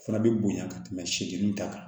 Fura bɛ bonya ka tɛmɛ seki ta kan